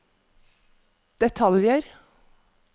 detaljer